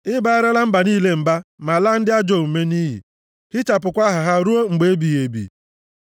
I baarala mba niile mba ma laa ndị ajọ omume nʼiyi, hichapụkwa aha ha ruo mgbe ebighị ebi.